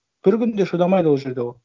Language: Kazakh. бір күн де шыдамайды ол жерде ол